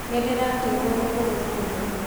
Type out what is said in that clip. Nĩ ndĩraturo nĩ kũgũrũ mũno